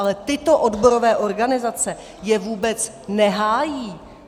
Ale tyto odborové organizace je vůbec nehájí!